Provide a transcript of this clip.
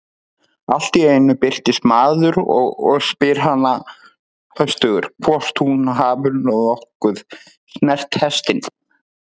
Allt í einu birtist maður og spyr hana höstugur hvort hún hafi nokkuð snert hestinn.